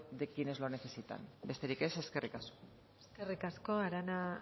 de quienes lo necesitan besterik ez eskerrik asko eskerrik asko arana